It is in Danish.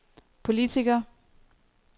politiker